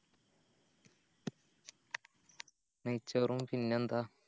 നെയ്‌ച്ചോറും പിന്നെന്താ